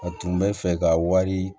A tun bɛ fɛ ka wari